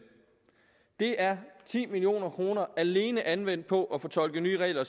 det er ti million kroner alene anvendt på at fortolke nye regler